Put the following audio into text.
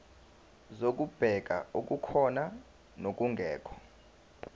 zokubheka okukhona nokungekho